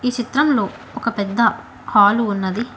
చిత్రంలో ఒక పెద్ద హాలు ఉన్నది.